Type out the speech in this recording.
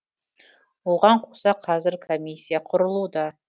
оған қоса қазір комиссия құрылуда